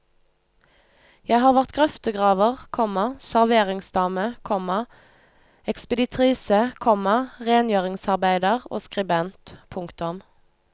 Jeg har vært grøftegraver, komma serveringsdame, komma ekspeditrise, komma rengjøringsarbeider og skribent. punktum